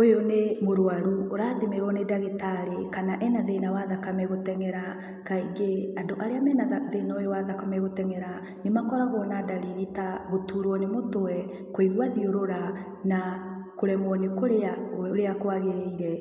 Ũyũ nĩ mũrwaru, ũrathimĩrwo nĩ ndagĩtarĩ kana ena thĩna wa thakame gũteng'era. Kaingĩ, andũ arĩa mena thĩna ũyũ wa thakame gũteng'era, nĩ makoragwo na dariri ta gũturwo nĩ mũtwe, kũigua thiũrũra, na kũremwo nĩ kũrĩa ũrĩa kwagĩrire.